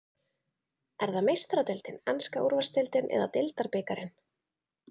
Er það Meistaradeildin, enska úrvalsdeildin eða deildarbikarinn?